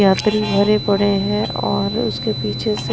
यात्री भरे पड़े हैं और उसके पीछे से--